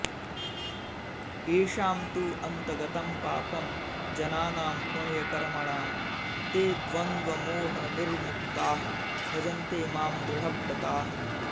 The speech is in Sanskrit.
येषां तु अन्तगतं पापं जनानां पुण्यकर्मणाम् ते द्वन्द्वमोहनिर्मुक्ताः भजन्ते मां दृढव्रताः